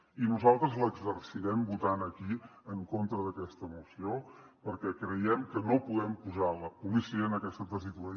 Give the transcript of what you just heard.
i nosaltres l’exercirem votant aquí en contra d’aquesta moció perquè creiem que no podem posar la policia en aquesta tessitura